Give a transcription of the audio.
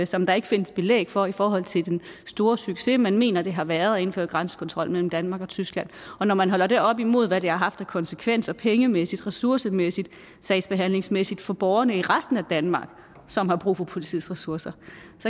som der ikke findes belæg for i forhold til den store succes man mener at det har været at indføre dansk grænsekontrol mellem danmark og tyskland og når man holder det op imod hvad det har haft af konsekvenser pengemæssigt ressourcemæssigt sagsbehandlingsmæssigt for borgerne i resten af danmark som har brug for politiets ressourcer